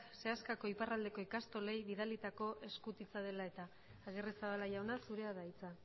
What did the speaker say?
seaskako iparraldeko ikastolei bidalitako eskutitza dela eta agirrezabala jauna zurea da hitza